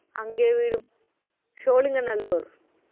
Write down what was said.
அங்கேயே வீடும் சோழிங்கநல்லூர்